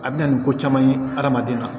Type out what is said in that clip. A bɛ na ni ko caman ye adamaden na